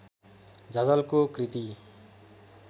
झझल्को कृति